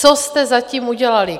Co jste zatím udělali?